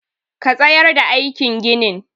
Ka tsayar da aikin ginin!